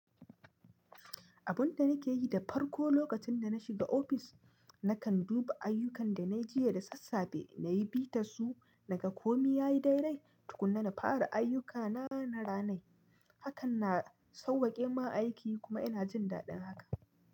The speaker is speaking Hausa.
Abun da nake yi da farko lokacin dana shiga ofis, nakan duba ayyukan danayi jiya da sassafe nayi, bitassu, naga komi yayi daidai. Tukunna na fara ayyukana na ranai. Hakan na sauwakemun aiki kuma ina jin daɗin haka.